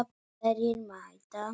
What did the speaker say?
Hverjir mæta?